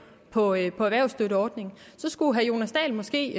på erhvervsstøtteordningerne skulle herre jonas dahl måske